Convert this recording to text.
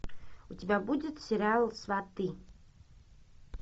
у тебя будет сериал сваты